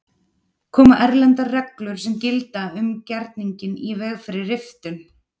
Koma erlendar reglur sem gilda um gerninginn í veg fyrir riftun?